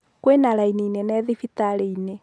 Kwĩna raini nene thibitarĩinĩ.